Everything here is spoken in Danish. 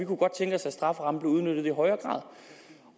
kunne godt tænke os at strafferammen blev udnyttet i højere grad